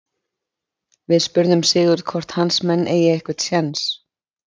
Við spurðum Sigurð hvort hans menn eigi einhvern séns?